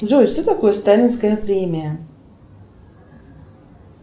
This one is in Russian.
джой что такое сталинская премия